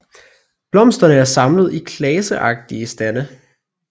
Blomsterne er samlet i klaseagtige stande